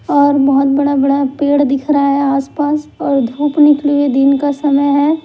ओर बड़ा बड़ा पेड़ दिख रहा है आसपास और धूप निकली हुए दिन का समय है।